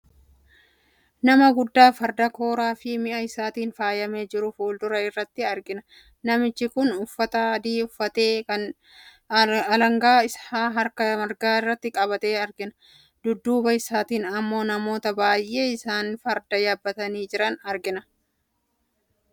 Nama guddaa farda kooraa fi mi'a isaatiin faayamee jiru fuuldura irratti argina. Namichi kunis uffata adii uffatee, alangaa isaa harka mmirgaatti qabatee argama. Dudduba isaattin immoo namoota baay'ee isaanis farda yaabbatanii jiran argina.